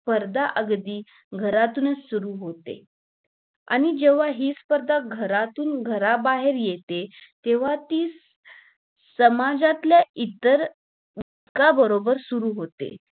स्पर्धा अगदी घरातूनच सुरु होते आणि जेव्हा हि स्पर्धा घरातून घराबाहेर येते तेव्हा ती समाजातल्या इतर इत्तर बरोबर सुरु होते